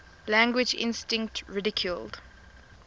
language instinct ridiculed